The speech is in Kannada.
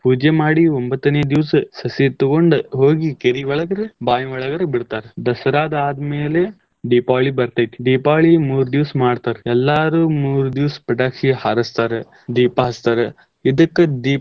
ಪೂಜೆ ಮಾಡಿ ಒಂಭತ್ತನೇ ದಿವಸ ಸಸಿ ತುಗೊಂಡ್ ಹೋಗಿ ಕೆರಿ ಒಳಗರ್ ಬಾವಿ ಒಳಗರ್ ಬಿಡ್ತಾರ. ದಸರಾ ಆದ್ಮೇಲೆ ದೀಪಾವಳಿ ಬರ್ತೇತಿ ದೀಪಾವಳಿ ಮೂರ್ ದಿವಸ್ ಮಾಡ್ತಾರ್, ಎಲ್ಲಾರು ಮೂರ್ ದಿವಸ ಪಟಾಕ್ಷಿ ಹಾರಸ್ತಾರ, ದೀಪಾ ಹಚ್ಚತಾರ ಇದಕ್ಕ್ ದೀಪದ.